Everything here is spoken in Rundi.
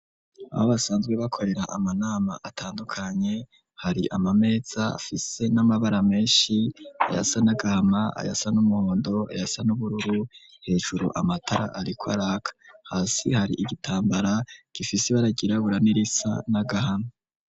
Aho basanzwe bakorera amanama atandukanye, hari amameza afise n'amabara menshi: ayasa n'agahama, ayasa n'umuhondo, ayasa n'ubururu; hejuru amatara ariko araka, hasi har'igitambara gifise ibara ryirabura, n'irisa n'agahama.